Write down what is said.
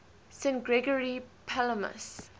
st gregory palamas